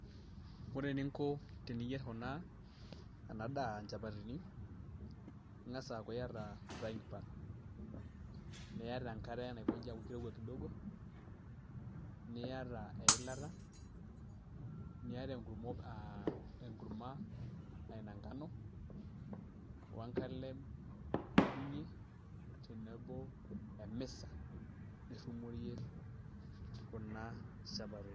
Ore eninko teniyierr kuna, ena daa nchapatini ing'as aaku iata frying pan niata enkare naikonji aaku kirowua kidogo niata eilata niata enkurma aa ina engano o enkalem nidung'ie tenebo o misa nirrumoyie kuna shapatini.